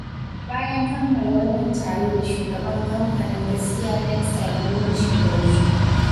Bayan kammala wannan taro da Shugaban kamfanin Gaskiya Textile mun wuce Gwarzo